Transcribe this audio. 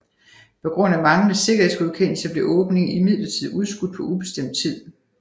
På grund af manglende sikkerhedsgodkendelse blev åbningen imidlertid udskudt på ubestemt tid